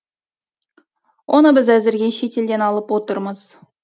оны біз әзірге шетелден алып отырмыз